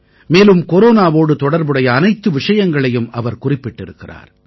மேலும் கொரோனாவோடு தொடர்புடைய அனைத்து விஷயங்களையும் அவர் குறிப்பிட்டிருக்கிறார்